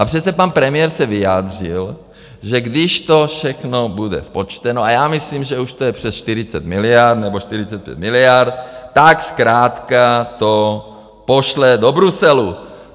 A přece pan premiér se vyjádřil, že když to všechno bude spočteno, a já myslím, že už to je přes 40 miliard nebo 45 miliard, tak zkrátka to pošle do Bruselu.